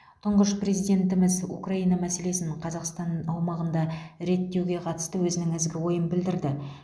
тұңғыш президентіміз украина мәселесін қазақстан аумағында реттеуге қатысты өзінің ізгі ойын білдірді